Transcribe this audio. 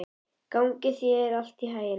Gangi þér allt í haginn, Fannberg.